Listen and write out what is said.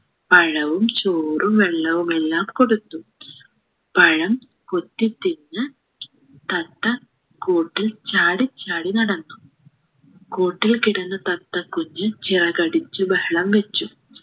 പഴവും ചോറും വെള്ളവുമെല്ലാം കൊടുത്തു പഴം കൊത്തി തിന്ന് തത്ത കൂട്ടിൽ ചാടിച്ചാടി നടന്നു കൂട്ടിൽ കിടന്ന തത്തകുഞ്ഞ് ചിറകടിച്ചു ബഹളം വച്ചു